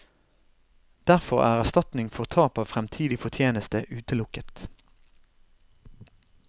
Derfor er erstatning for tap av fremtidig fortjeneste utelukket.